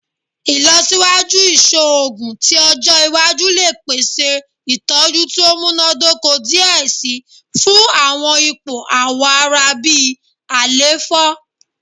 Ilọsiwaju iṣoogun ti ọjọ iwaju le pese itọju ti o munadoko diẹ sii fun awọn ipo awọ ara bi àléfọ